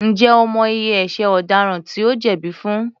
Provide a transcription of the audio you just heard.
Ǹjẹ́ o mọ iye ẹṣẹ̀ ọ̀daràn tí ó jẹ̀bí fún?